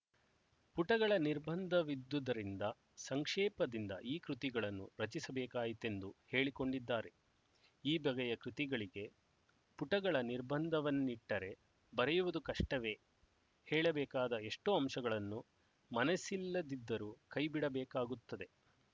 ಪುಟಗಳ ನಿರ್ಬಂಧವಿದ್ದುದರಿಂದ ಸಂಕ್ಷೇಪದಿಂದ ಈ ಕೃತಿಗಳನ್ನು ರಚಿಸಬೇಕಾಯಿತೆಂದು ಹೇಳಿಕೊಂಡಿದ್ದಾರೆ ಈ ಬಗೆಯ ಕೃತಿಗಳಿಗೆ ಪುಟಗಳ ನಿರ್ಬಂಧವನ್ನಿಟ್ಟರೆ ಬರೆಯುವುದು ಕಷ್ಟವೇ ಹೇಳಬೇಕಾದ ಎಷ್ಟೋ ಅಂಶಗಳನ್ನು ಮನಸ್ಸಿಲ್ಲದಿದ್ದರೂ ಕೈ ಬಿಡಬೇಕಾಗುತ್ತದೆ